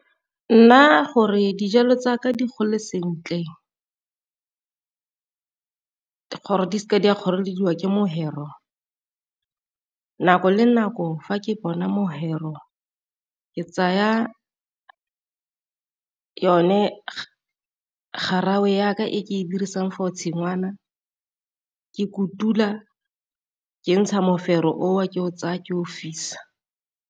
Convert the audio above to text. Nna gore dijalo tsa ka di gole sentle gore di seke di a kgorelediwa ke mofero, nako le nako fa ke bona mofero ke tsaya yone garawe ya ka e ke e dirisang for tshingwana ke kutula kentsha mofero o o ke o tsaya ke o fisa.